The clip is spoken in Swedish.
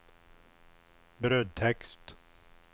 brödtext